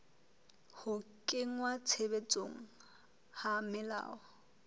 ho kenngwa tshebetsong ha melao